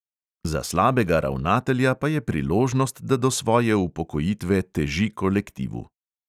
Za slabega ravnatelja pa je priložnost, da do svoje upokojitve teži kolektivu.